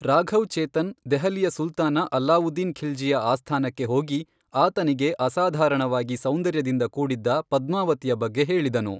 ರಾಘವ್ ಚೇತನ್ ದೆಹಲಿಯ ಸುಲ್ತಾನ ಅಲ್ಲಾವುದ್ದೀನ್ ಖಿಲ್ಜಿಯ ಆಸ್ಥಾನಕ್ಕೆ ಹೋಗಿ, ಆತನಿಗೆ ಅಸಾಧಾರಣವಾಗಿ ಸೌಂದರ್ಯದಿಂದ ಕೂಡಿದ್ದ ಪದ್ಮಾವತಿಯ ಬಗ್ಗೆ ಹೇಳಿದನು.